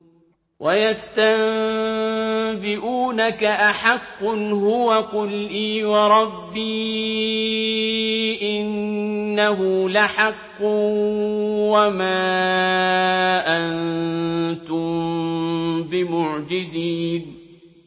۞ وَيَسْتَنبِئُونَكَ أَحَقٌّ هُوَ ۖ قُلْ إِي وَرَبِّي إِنَّهُ لَحَقٌّ ۖ وَمَا أَنتُم بِمُعْجِزِينَ